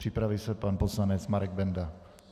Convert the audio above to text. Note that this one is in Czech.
Připraví se pan poslanec Marek Benda.